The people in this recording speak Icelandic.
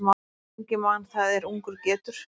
Lengi man það er ungur getur.